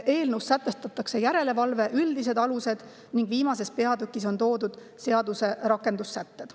Eelnõus sätestatakse järelevalve üldised alused ning viimases peatükis on toodud seaduse rakendussätted.